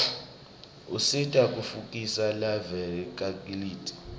usita kutfutfukisa live lakitsi